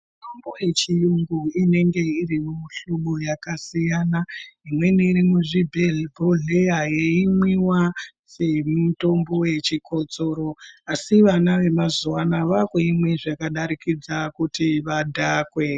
Mitombo yechiyungu inenge iri mumihlobo yakasiyana imweni iri muzvibhodhlera yeyimwiwa semitombo yechikotsoro asi vana vemazuvano vakuimwe zvakadarikidze kuti vadhakwe.